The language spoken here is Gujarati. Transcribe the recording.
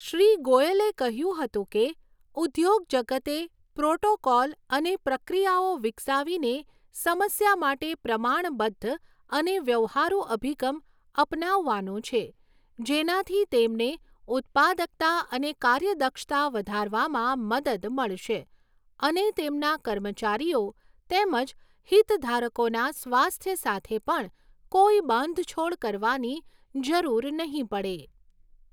શ્રી ગોયલે કહ્યું હતું કે, ઉદ્યોગજગતે પ્રોટોકોલ અને પ્રક્રિયાઓ વિકસાવીને સમસ્યા માટે પ્રમાણબદ્ધ અને વ્યવહારુ અભિગમ અપનાવવાનો છે જેનાથી તેમને ઉત્પાદકતા અને કાર્યદક્ષતા વધારવામાં મદદ મળશે અને તેમના કર્મચારીઓ તેમજ હિતધારકોના સ્વાસ્થ્ય સાથે પણ કોઈ બાંધછોડ કરવાની જરૂર નહીં પડે.